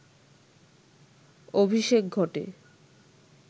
অভিষেক ঘটে